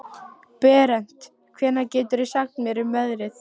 Berent, hvað geturðu sagt mér um veðrið?